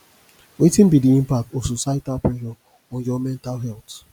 wetin be di impact of societal pressure on your mental health